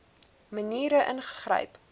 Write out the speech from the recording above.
maniere ingegryp